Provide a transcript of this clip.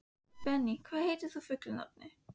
Benný, hvað heitir þú fullu nafni?